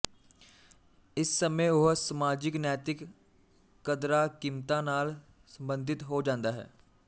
ਇਸ ਸਮੇਂ ਉਹ ਸਮਾਜਿਕ ਨੈਤਿਕ ਕਦਰਾਂਕੀਮਤਾਂ ਨਾਲ ਸੰਬੰਧਿਤ ਹੋ ਜਾਂਦਾ ਹੈ